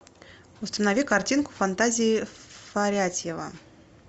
установи картинку фантазии фарятьева